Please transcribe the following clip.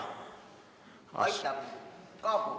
Kaabu!